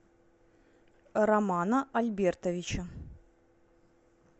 романа альбертовича